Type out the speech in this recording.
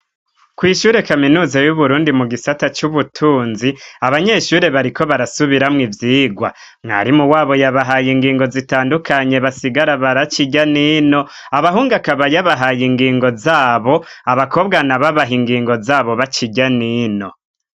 Kw'ishure kaminuza y'Uburundi mu gisata c'ubutunzi, abanyeshure bariko barasubiramwo ivyigwa. Mwarimu wabo yabahaye ingingo zitandukanye basigara barakica irya n'ino, abahungu akaba yabahaye ingingo zabo, abakobwa nabo abaha ingingo zabo baca irya n'ino.